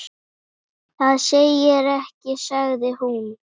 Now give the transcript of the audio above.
Það segir ekkert sagði hún.